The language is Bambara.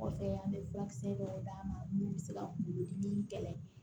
Kɔfɛ an bɛ furakisɛ dɔw d'a ma mun bɛ se ka kuŋolo dimi kɛlɛ